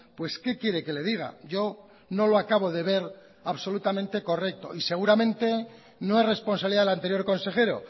pues qué quiere que le diga yo no lo acabo de ver absolutamente correcto y seguramente no es responsabilidad del anterior consejero